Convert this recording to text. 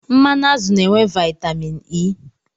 Mmanụ azụ na-enwe vaitamin E.